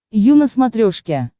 ю на смотрешке